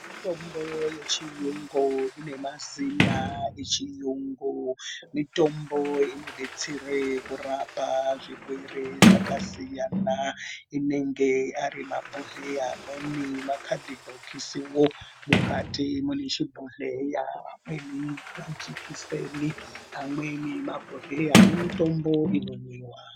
Mitombo yechiyungu ine mazina echiyungu mitombo inodetsere kurapa zvirwere zvakasiyana inenge ari mabhodhleya amweni makadhibhokisiwo mukati mune chibhodhleya amweni majikiseni amweni mabhodhleya ane mitombo inomwiwa.